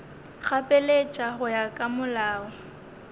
gapeletša go ya ka molao